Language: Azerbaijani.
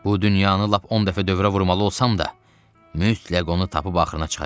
Bu dünyanı lap 10 dəfə dövrə vurmalı olsam da, mütləq onu tapıb axırına çıxacağam.